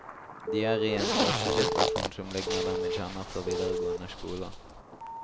De er i en klassesituasjon som ligner den vi kjenner fra videregående skole.